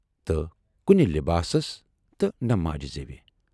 تہٕ کُنہِ لِباس تہٕ نہٕ ماجہِ زیو۔